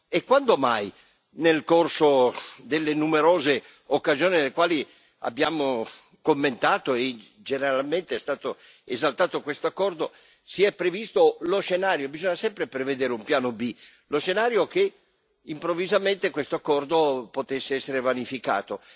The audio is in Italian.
E quando mai, nel corso delle numerose occasioni nelle quali abbiamo commentato e generalmente è stato esaltato questo accordo, si è previsto lo scenario bisogna sempre prevedere un piano B che improvvisamente questo accordo potesse essere vanificato?